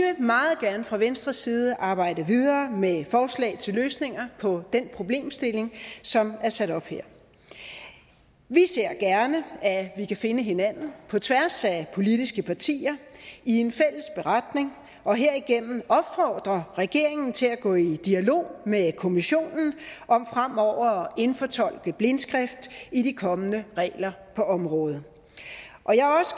meget gerne fra venstres side arbejde videre med forslag til løsninger på den problemstilling som er sat op her vi ser gerne at vi kan finde hinanden på tværs af politiske partier i en fælles beretning og herigennem opfordre regeringen til at gå i dialog med kommissionen om fremover at indfortolke blindskrift i de kommende regler på området